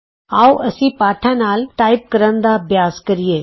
ਆਉ ਅਸੀਂ ਪਾਠਾਂ ਨਾਲ ਟਾਈਪ ਕਰਨ ਦਾ ਅਭਿਆਸ ਕਰੀਏ